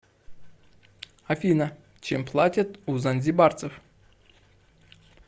афина чем платят у занзибарцев